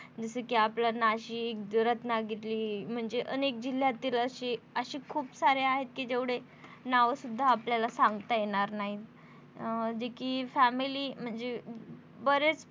जस कि आपला नाशिक रत्नागिरी म्हणजे अनेक जिल्यातील अशे अशी खूप सारी आहेत कि जेवढे नाव सुद्धा आपल्याला सांगता येणार नाही अं जे कि family म्हणजे अ बरेच